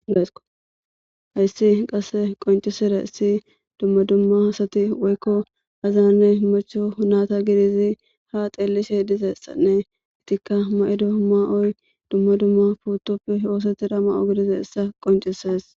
Hayssi qasse qoncisera issi dumma dumma hasati woykko azaanne marcho naata gidizi ha xeellishe dizessanne itikka ma7ido ma7oy dumma dumma puutoppe ooseti da ma7o gidize issa qoncises.